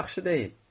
Yaxşı deyil.